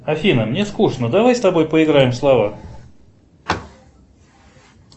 афина мне скучно давай с тобой поиграем в слова